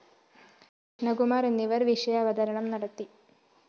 കൃഷ്ണകുമാര്‍ എന്നിവര്‍ വിഷയാവതരണം നടത്തി